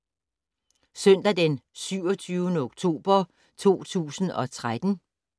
Søndag d. 27. oktober 2013